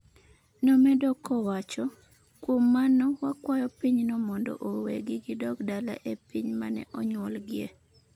nomedo kowacho" kuom mano wakwayo piny no mondo owegi gidog dala e piny mane onyuolgiye"